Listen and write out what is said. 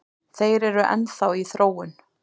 Þeir eru enn þá í þróun